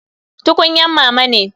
Tukunyan mama ne.